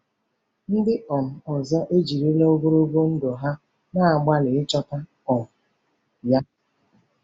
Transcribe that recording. Ndị um ọzọ ejiriwo ogologo ndụ ha na-agbalị ịchọta um ya.